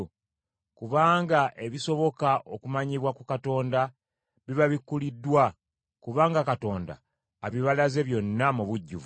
Kubanga ebisoboka okumanyibwa ku Katonda bibabikkuliddwa, kubanga Katonda abibalaze byonna mu bujjuvu.